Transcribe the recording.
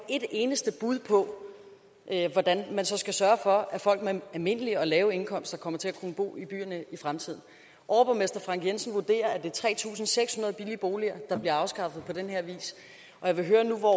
et eneste bud på hvordan man så skal sørge for at folk med almindelige og lave indkomster kommer til at kunne bo i byerne i fremtiden overborgmester frank jensen vurderer at det er tre tusind seks hundrede billige boliger der bliver afskaffet på den her vis og jeg vil høre nu hvor